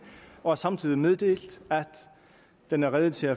og har samtidig meddelt at den er rede til